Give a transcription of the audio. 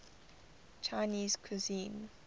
chinese cuisine